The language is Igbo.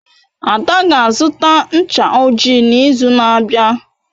Ada ga-azụta ncha ojii n'izu na-abịa.